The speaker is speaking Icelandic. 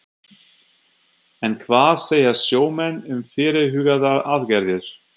En hvað segja sjómenn um fyrirhugaðar aðgerðir?